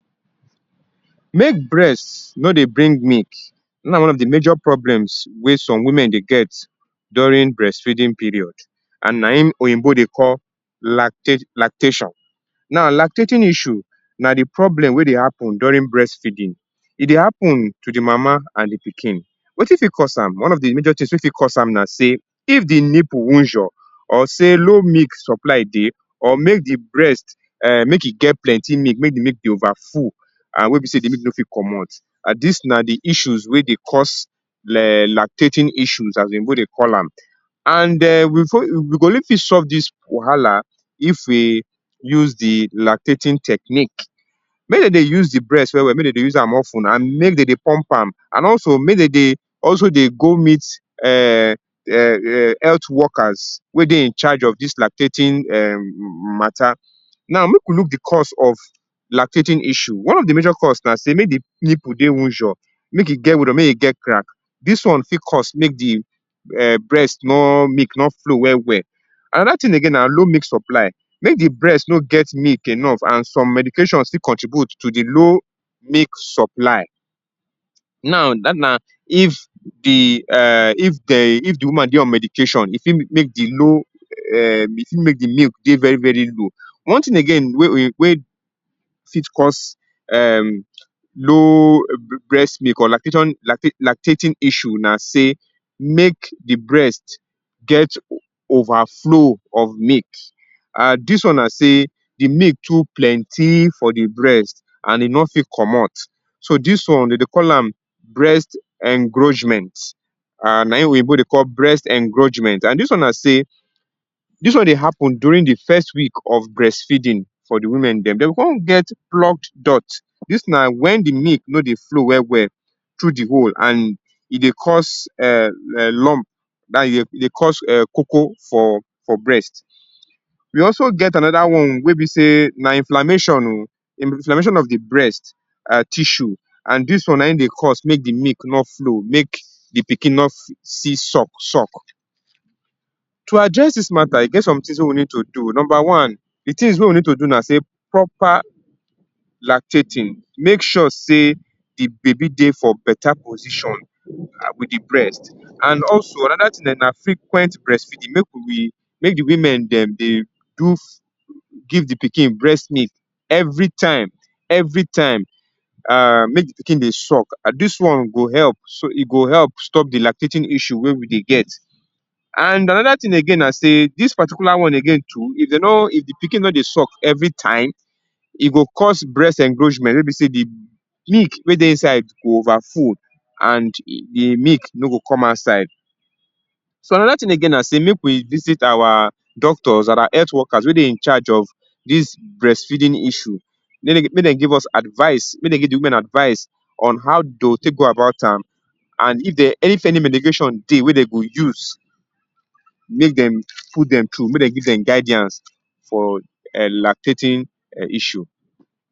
Make breast no dey bring milk, dis na one of di major problems wey some women get during breastfeeding period and naim oyinbo dey call lacte lactation. Now, lactating issue na di problem wey dey happen during breastfeeding. E dey happen to di mama and di pikin. Wetin fit cause am? One of di major tins wey fit cause am na sey, if di nipple wunjor, or sey low milk supply dey or make di um breast um make e get plenty milk, mey di milk dey over full and wey be sey di milk no fit comot and dis na di issues wey dey cause le um lactating issues as oyinbo dey call am. And um we for, we go only fit solve dis wahala if e use di lactating technique. Mey den dey use di breast well well, mey den dey use am of ten and mey den dey pump am. And also, mey den dey also dey go meet um um um health workers wey dey in charge of dis lactating um mata. Now, make we look di cause of lactating issue. One of di major cause na sey make di nipple dey wunjor, make e get wunjor, mey e get crack, dis one fit cause make di um breast nor milk nor flow well well. Anoda tin again na low milk supply, make di breast no get milk enough and some medication still contribute to di low milk supply. Now, dat na if di um if dey if di woman dey on medication, e fit make di low um e fit make di milk dey very low. One tin about again wey oyin wey fit cause um low breast milk or lactation lacte lactating issue na sey make di breast get overflow of milk and dis one na sey di milk too plenty for di breast and e nor fit comot. So, dis one den dey call am breast encroachment um naim oyinbo dey call breast encroachment and dis one na sey, dis one dey happen during di first week of breastfeeding for di women dem. Den go kon get cloak dot, dis na wen di milk no dey flow well well through di hole and e dey cause um um lump dat is e dey cause um koko for for breast. We also get anoda one wey be sey na inflammation o. Inflammation of di breast um tissue and dis one naim dey cause make di milk nor flow make di pikin nor fi see suck suck. To address dis mata e get some tins wey we need to do, number one, di tins wey we need to do na sey proper lactating. make sure sey di baby dey for beta position, um wit di breast. And also, anoda tin[um]na frequent breastfeeding, make we dey make di women dem dey do give di pikin breast milk every time, every time um make di pikin dey suck. Dis one go help so e go help stop di lactating issue wey we dey get. And anoda tin again na sey, dis particular one again too if den nor if di pikin nor dey suck every time, e go cause breast encroachment wey be sey di milk wey dey inside go over full and e di milk no go come outside. So, anoda tin again na sey make we visit our doctors, dat are health workers wey dey in chage of dis breastfeeding issue make den make den give us advise, make den give di women advise on how dey go tek go about am. And if dem if any medication dey wey den go use, make dem put dem tru, make dem give dem guidance for um lactating um issue.